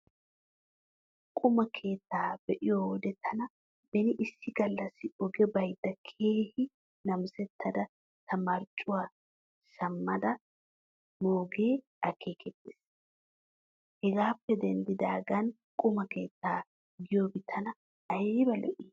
Quma keettaa be'iyo wode taani beni issi gallassi oge baydda keehi namisettada ta marccuwaan shammada moogee akeekettees. Hegaappe denddidaagan quma keettaa giyoobi tana ayba lo'i.